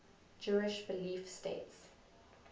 jewish belief states